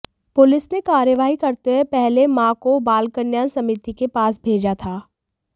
police ने कार्यवाही करते हुए पहले मां को बाल कल्याण समिति के पास भेजा था